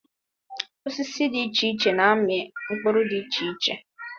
Osisi dị iche iche na-amị mkpụrụ dị iche iche.